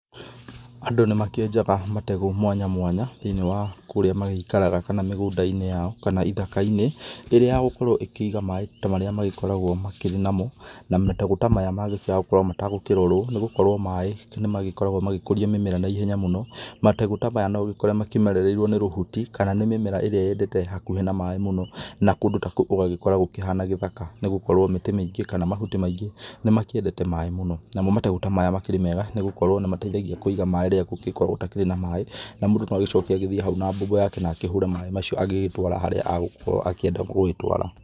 Andũ nĩ makĩenjaga mategũ mwanya mwanya thĩ-inĩ wa kũrĩa magĩikaraga kana mĩgũnda-inĩ yao kana ithakainĩ, ĩrĩa ya gũkorwo ĩkĩiga maĩ ta marĩa magĩkoragwo makĩrĩ namo na mategũ ta maya mangĩkĩaga gũkorwo matagũkĩrorwo nĩ gũkorwo maĩ nĩ magĩkoragwo magĩkũria mĩmera na ihenya mũno, mategũ ta maya no ũgĩkore makĩmererwo nĩ rũhuti kana nĩ mĩmera ĩrĩa yendete hakuhĩ na maĩ mũno na kũndũ ta kou ũgagĩkora gũkĩhana gĩthaka na gũkorwo mĩtĩ mĩingĩ kana mahuti maingĩ nĩ makĩendete maĩ mũno. Namo mategũ ta maya nĩ makĩrĩ mega nĩ gũkorwo nĩ mateithagia gũkĩiga maĩ rĩrĩa gũgĩkoragwo gũtarĩ na maĩ na mũndũ no agĩcoke agĩthi hau na mbombo yake na akĩhũre maĩ macio na agĩgĩtwara harĩa agũkorwo akĩenda gũtwara.